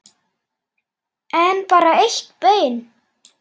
En bara eitt bein.